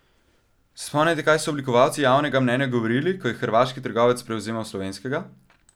Se spomnite, kaj so oblikovalci javnega mnenja govorili, ko je hrvaški trgovec prevzemal slovenskega?